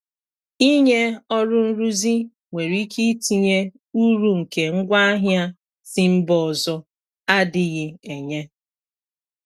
Ịnye ọrụ nrụzi nwere ike itinye uru nke ngwa ahịa si mba ọzọ adighi enye.